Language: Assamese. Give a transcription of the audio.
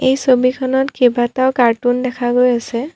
এই ছবিখনত কেইবাটাও কাৰ্টুন দেখা গৈ আছে।